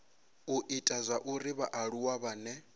u ita zwauri vhaaluwa vhane